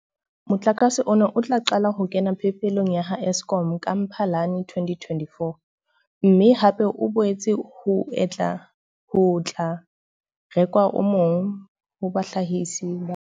Motlakase ona o tla qala ho kena phepelong ya ha Eskom ka Mphalane 2024, mme hape ho boetse ho tla rekwa o mong ho bahlahisi ba bang ba 22.